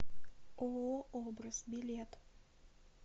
ооо образ билет